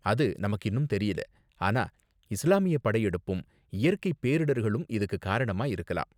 அது நமக்கு இன்னும் தெரியல, ஆனா இஸ்லாமிய படையெடுப்பும் இயற்கை பேரிடர்களும் இதுக்கு காரணமா இருக்கலாம்.